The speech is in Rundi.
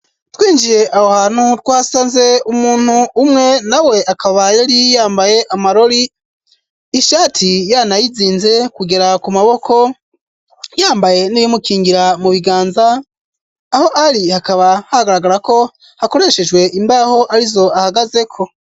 Twinjiye aho hantu, twasanze umuntu umwe, nawe akaba yari yambaye amarori, ishati yanayizinze kugera ku maboko, yambaye n'ibimukingira mu biganza, aho ari hakaba hagaragara ko hakoreshejwe imbaho, arizo ahagazeko.